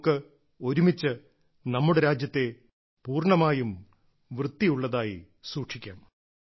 നമുക്ക് ഒരുമിച്ച് നമ്മുടെ രാജ്യത്തെ പൂർണ്ണമായും വൃത്തിയുള്ളതായി സൂക്ഷിക്കാം